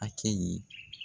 Hakɛ ye